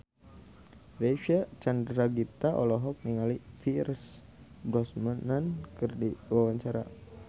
Reysa Chandragitta olohok ningali Pierce Brosnan keur diwawancara